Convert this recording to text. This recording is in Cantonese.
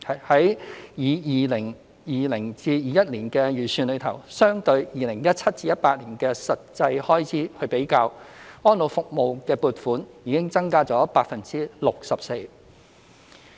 在 2020-2021 年度的預算中，相對於 2017-2018 年度的實際開支，安老服務的撥款已增加 64%。